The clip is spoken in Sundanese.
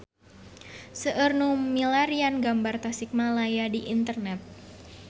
Seueur nu milarian gambar Tasikmalaya di internet